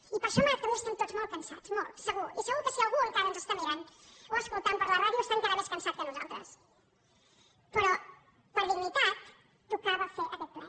i per això avui estem molt cansats molt segur i segur que si algú encara ens està mirant o escoltant per la ràdio està encara més cansat que nosaltres però per dignitat tocava fer aquest ple